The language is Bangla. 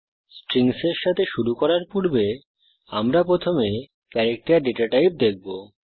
স্ট্রিংসের সাথে শুরু করার পূর্বে আমরা প্রথমে ক্যারেক্টার ডেটা টাইপ দেখব